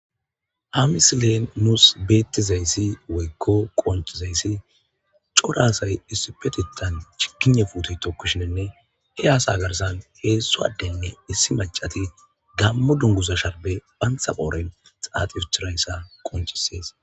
Ha misilen nusi be'ettiza izzi woyko qonccizayssi cora asay issippetettan chiggiyinya puutiya tokishshinne, he asa garssan hezzu addenne issi maccatti Gamo dungguza sharibe bantta koriyan tsatsida asa qonccisays.